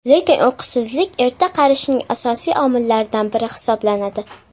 Lekin uyqusizlik erta qarishning asosiy omillaridan biri hisoblanadi.